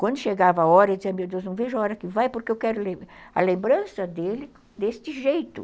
Quando chegava a hora, eu dizia, meu Deus, não vejo a hora que vai, porque eu quero a lembrança dele deste jeito.